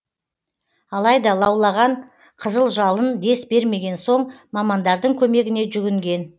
алайда лаулаған қызыл жалын дес бермеген соң мамандардың көмегіне жүгінген